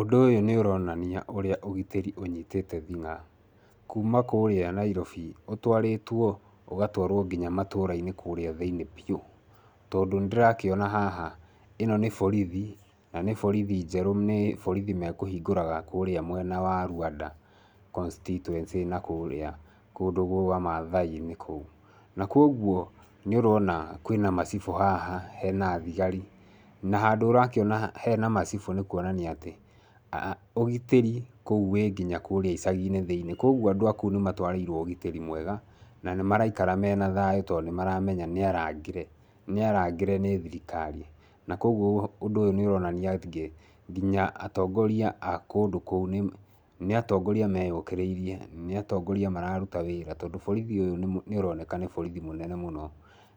Ũndũ ũyũ nĩ ũronania ũria ũgitĩri ũnyitĩte thing'a, kuma kũria Nairobi ũtwarĩtwo, ũgatwarwo nginya kũria matũra-inĩ kũria thĩiniĩ biu. Tondũ nĩ ndĩrakiona haha ĩno nĩ borithi, na nĩ borithi njerũ, ni borithi mekũhingũraga kũria mwena wa Luanda constituency na kũria kũndũ kwa maathai-inĩ kũu. Na kuguo nĩ ũrona kwina macibũ haha, hena thigari, na handũ ũrakiona hena macibũ nĩ kuonania atĩ, ũgitĩri kũu wĩ nginya kũria icagi-inĩ thĩiniĩ, kuguo andũ a kũu nĩmatwarĩirwo ũgitĩri mwega na nĩmaraikara mena thayũ tondũ nĩmaramenya niarangĩre, niarangĩre nĩ thirikari na kuguo ũndũ ũyũ nĩuronanie atĩ nginya atongoria a kũndũ kũu niatongoria meyũkĩrĩirie nĩatongoria mararuta wira tondu borithi ũyũ nĩ uroneka nĩ borithi mũnene mũno